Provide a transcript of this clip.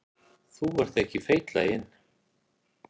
Þó ekki feitlaginn.